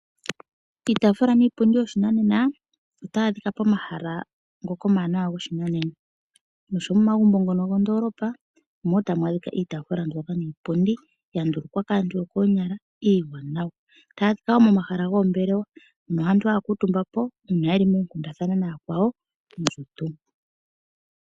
Iitafula niipundi yoshinanena ota yaadhika pomahala ngoka omawanawa goshinanena nosho woo momagumbo go mondolopa omuli woo tamwaadhika iitafula niipundi yandulukwa kaantu yo koonyala iiwanawa, tayadhika woo momahala gomoombelewa mpo aantu haakutumbapo uuna yeli moonkuthana nayakwawo.